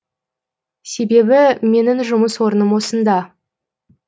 себебі менің жұмыс орным осында